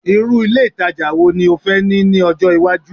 irú ilé ìtajà wo ni o fẹ́ ní ni ọjọ iwaju